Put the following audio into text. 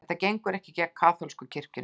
Þetta gengur ekki gegn kaþólsku kirkjunni